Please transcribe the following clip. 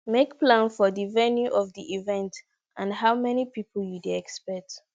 make plan for di venue of di event and how many pipo you dey expect